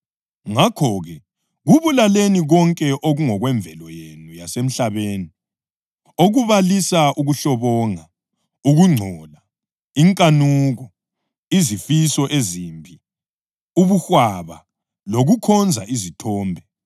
Ngakho-ke, kubulaleni konke okungokwemvelo yenu yasemhlabeni: okubalisa ukuhlobonga, ukungcola, inkanuko, izifiso ezimbi, ubuhwaba lokukhonza izithombe.